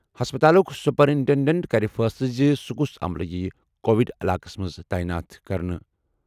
ہسپتالُک superintendent کَرِ فٲصلہٕ زِ کُس عملہٕ یِیہِ کووڈ علاقَس منٛز تعینات کرنہٕ۔